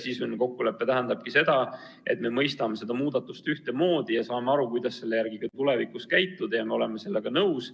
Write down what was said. Sisuline kokkulepe tähendab seda, et me mõistame seda muudatust ühtemoodi, saame aru, kuidas tulevikus tegutseda, ja me oleme sellega nõus.